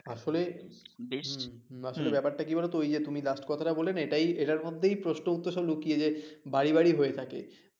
আসলে ব্যাপারটা কী বলতো তুমি যে last কথাটা বললে না এটাই, এটার মধ্যেই প্রশ্ন উত্তর সব লুকিয়ে যে বাড়ি বাড়ি হয়ে থাকে